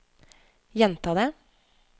gjenta det